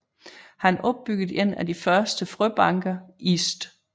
Han opbyggede en af de første frøbanker i St